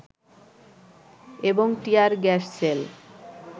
এবং tear gas shell